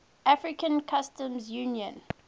african customs union